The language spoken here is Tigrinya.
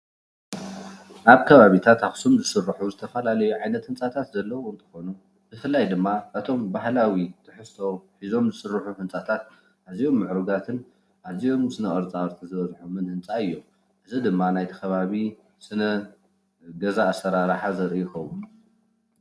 ኣብ ከባቢታት ኣክሱም ዝስርሑ ዝተፈላለዩ ዓይነት ህንፃታት ዘሎ እንትኮኑ ብፍላይ ድማ እቶም ባህላዊ ትሕዝቶ ሕዞም ዝስርሑ ህንፃታት ኣዝዮም ምዕሩጋትን ኣዝዮም ስነ -ቅርፃቅርፂ ዝበዝሖም ህንፃ እዩም። እዚ ድማ ናይቲ ከበቢ ስነ-ገዛ ኣሰራረሓ ዘርኢ ይከውን።